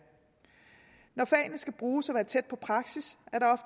når fagene skal bruges og være tæt på praksis er